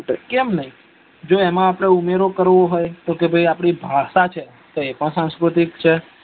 કેમ ન જો એમાં આપડે ઉમેરો કરવો હોય કે ભાઈ આપડી ભાષા છે તો અ પણ સાસ્કૃતિ છે